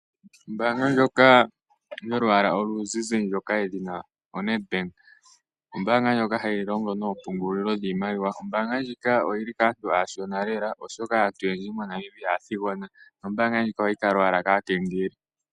Ombaanga ndjoka yolwaala oluzizi ndjoka yedhina oNedbank ombaanga ndjoka hayi longo noompungulilo dhiimaliwa. Ombaanga ndjika oyi li kaantu aashona lela, oshoka aantu oyendji moNamibia aathigona nombaanga ndjika ohayi kala owala kaakengeli.